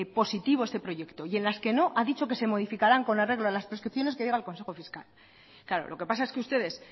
positivo este proyecto y en las que no ha dicho que se modificaran con arreglo a las prescripciones que diga el consejo fiscal claro lo que pasa es que ustedes